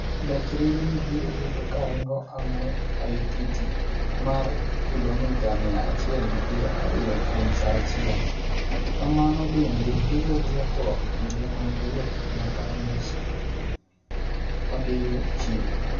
Gach reru ni biro bedo karingo e ng'we aititi mar kilomita mia achiel gi piero ariyo kuom saaachiel. Kamano bende biro duoko kinde mag wuoth nyaka nus odiyo chieng'.